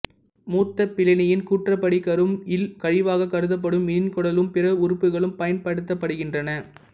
மூத்த பிளினியின் கூற்றுப்படி கரும் இல் கழிவாகக் கருதப்படும் மீனின் குடலும் பிற உறுப்புக்களும் பயன்படுத்தப்படுகின்றன